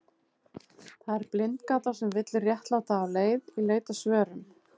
Það er blindgata sem villir réttláta af leið í leit að svörum.